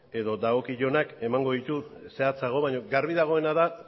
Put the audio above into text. edo dagokionak emango ditu zehatzago baina garbi dagoena da